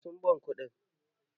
Eh sun ban kuɗi.